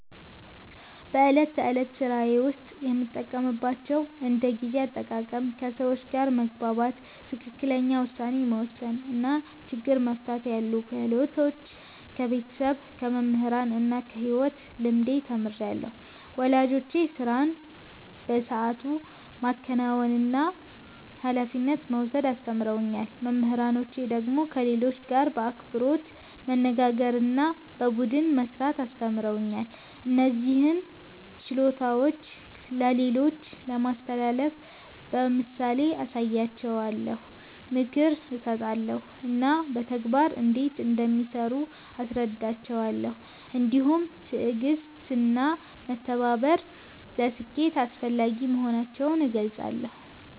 በዕለት ተዕለት ሥራዬ ውስጥ የምጠቀምባቸውን እንደ ጊዜ አጠቃቀም፣ ከሰዎች ጋር መግባባት፣ ትክክለኛ ውሳኔ መወሰን እና ችግር መፍታት ያሉ ክህሎቶች ከቤተሰብ፣ ከመምህራን እና ከሕይወት ልምድ ተምሬአለሁ። ወላጆቼ ሥራን በሰዓቱ ማከናወንና ኃላፊነት መውሰድ አስተምረውኛል። መምህራኖቼ ደግሞ ከሌሎች ጋር በአክብሮት መነጋገርና በቡድን መሥራት አስተምረውኛል። እነዚህን ችሎታዎች ለሌሎች ለማስተላለፍ በምሳሌ አሳያቸዋለሁ፣ ምክር እሰጣለሁ እና በተግባር እንዴት እንደሚሠሩ አስረዳቸዋለሁ። እንዲሁም ትዕግሥትና መተባበር ለስኬት አስፈላጊ መሆናቸውን እገልጻለሁ።